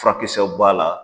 Furakɛkisɛw b'a la.